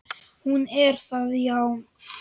Hún er það, já.